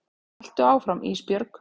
Haltu áfram Ísbjörg.